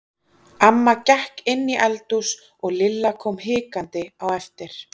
Amma gekk inn í eldhús og Lilla kom hikandi á eftir.